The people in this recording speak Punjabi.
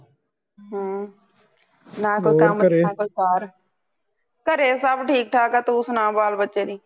ਹਮ ਹੋਰ ਘਰੇ ਨਾ ਕੋਈ ਕੰਮ ਨਾ ਕੋਈ ਕਾਰ ਘਰੇ ਸੱਬ ਠੀਕ ਠਾਕ ਤੂੰ ਸੁਣਾ ਬਾਲ ਬੱਚੇ ਦੀ